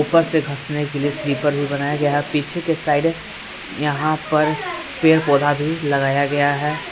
ऊपर से घसने के लिए स्लीपर भी बनाया गया है पीछे के साइड यहां पर पेड़ पौधा भी लगाया गया है।